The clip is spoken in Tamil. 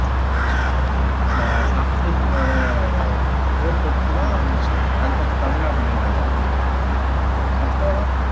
ஆஹ் போர் தொடுத்துதான் அதுக்கப்பறம் தமிழ்நாட்டை மீட்டாங்க அப்போலாம்